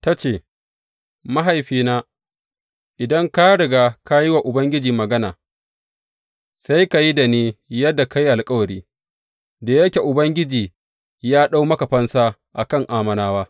Ta ce, Mahaifina, idan ka riga ka yi wa Ubangiji magana, sai ka yi da ni yadda ka yi alkawari, da yake Ubangiji ya ɗau maka fansa a kan Ammonawa.